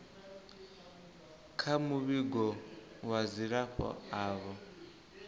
kha muvhigo wa dzilafho avho